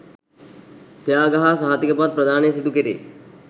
ත්‍යාග හා සහතික පත් ප්‍රදානය සිදු කෙරේ.